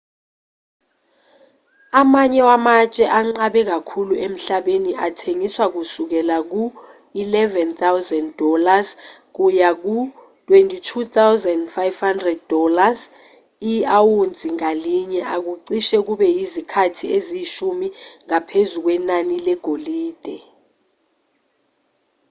amanye wamatshe anqabe kakhulu emhlabeni athengiswa kusukela ku-us$11,000 kuya ku-us$22,500 i-awunsi ngalinye okucishe kube yizikhathi eziyishumi ngaphezu kwenani legolide